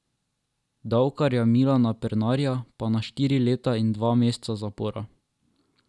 Davkarja Milana Pernarja pa na štiri leta in dva meseca zapora.